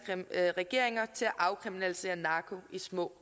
regeringer til at afkriminalisere narko i små